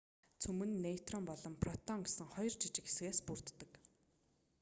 цөм нь нейтрон ба протон гэсэн хоёр жижиг хэсгээс бүрддэг